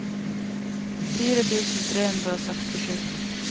fire tusen tre hundre og sekstisju